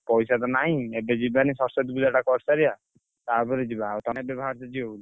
ପଇସା ତ ନାହିଁ। ଏବେ ଯିବାନି ସରସ୍ୱତୀ ପୂଜାଟା କରିସାରିଆ ତାପରେ ଯିବା। ଆଉ ତମେ ବି ବାହାରିଛ ଯିବ ବୋଲି?